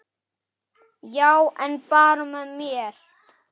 Já, en bara með mér.